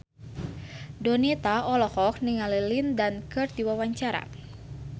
Donita olohok ningali Lin Dan keur diwawancara